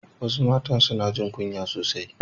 Wasu matan suna jin kunya sosai